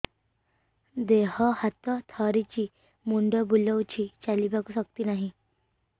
ଦେହ ହାତ ଥରୁଛି ମୁଣ୍ଡ ବୁଲଉଛି ଚାଲିବାକୁ ଶକ୍ତି ନାହିଁ